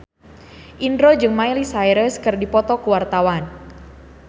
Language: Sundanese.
Indro jeung Miley Cyrus keur dipoto ku wartawan